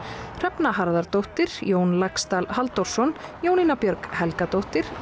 Hrefna Harðardóttir Jón Laxdal Halldórsson Jónína Björg Helgadóttir